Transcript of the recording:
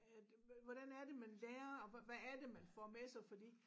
At hvordan er det man lærer og hvad er det man får med sig fordi